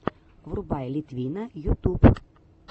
врубай литвина ютуб